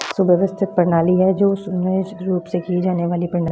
सुव्यवस्थित प्रणाली है जो सुनियोजित रूप से की जाने वाली प्रणाली --